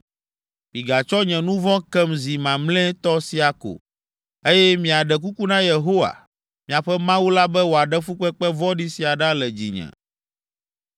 Migatsɔ nye nu vɔ̃ kem zi mamlɛtɔ sia ko, eye miaɖe kuku na Yehowa, miaƒe Mawu la be wòaɖe fukpekpe vɔ̃ɖi sia ɖa le dzinye.”